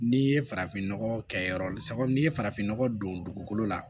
N'i ye farafinnɔgɔ kɛ yɔrɔ la sabu n'i ye farafinnɔgɔ don dugukolo la